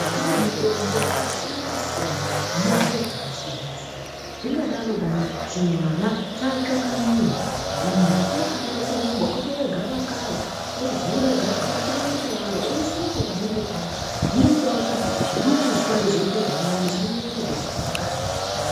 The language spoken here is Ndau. Kune mitombo yakasiyana siyana inorapa zvakasiyana siyana zvingadaro chimwana chatsva kanyiyo muntu unofanire kurumba otore gavakava ovhure gavakava otore muto waro oise panenge patsva zvinoitawo kuti dukuswa rinoita zviri nani risanyanya kuzokura.